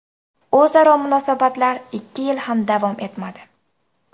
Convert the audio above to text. O‘zaro munosabatlar ikki yil ham davom etmadi.